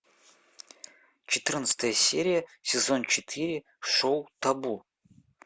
четырнадцатая серия сезон четыре шоу табу